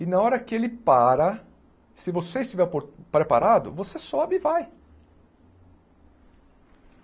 E na hora que ele para, se você estiver opo preparado, você sobe e vai.